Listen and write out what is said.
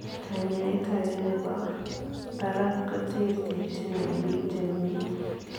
Kanyaet agee nepoo paraak koterterchiin eng piik chemii eng